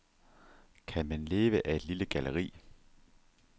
Kan man leve af et lille galleri?